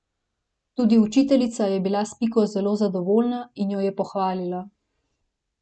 Tudi učiteljica je bila s Piko zelo zadovoljna in jo je pohvalila.